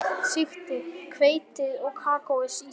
Sigtið hveitið og kakóið í skál.